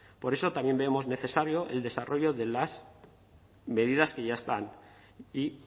por eso también vemos necesario el desarrollo de las medidas que ya están y